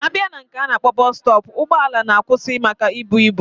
Abia na nke ana akpo bus stop, ugbo ala na akwusi maka ibu ibu.